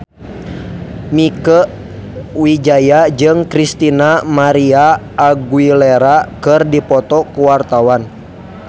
Mieke Wijaya jeung Christina María Aguilera keur dipoto ku wartawan